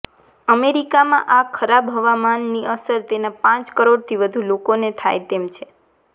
અમેરિકામાં આ ખરાબ હવામાનની અસર તેના પાંચ કરોડથી વધુ લોકોને થાય તેમ છે